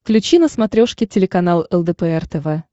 включи на смотрешке телеканал лдпр тв